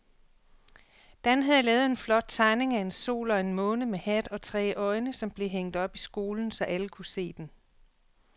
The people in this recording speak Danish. Dan havde lavet en flot tegning af en sol og en måne med hat og tre øjne, som blev hængt op i skolen, så alle kunne se den.